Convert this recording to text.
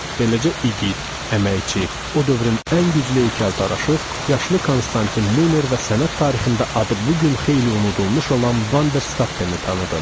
Beləcə iqit, əməkçi, o dövrün ən güclü heykəltaraşı, yaşlı Konstantin Muner və sənət tarixində adı bu gün xeyli unudulmuş olan Vanderstappeni tanıdım.